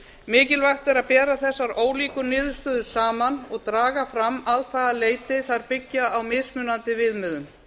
mikilvægt er að bera þessar ólíku niðurstöður saman og draga fram að hvaða leyti þær byggja á mismunandi viðmiðum